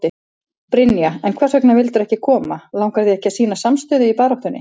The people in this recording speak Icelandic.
Brynja: En hvers vegna vildirðu ekki koma, langar þig ekki að sýna samstöðu í baráttunni?